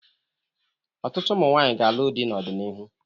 Ọtụtụ ụmụ nwaanyi ga-alụ dị n'ọdịnihu.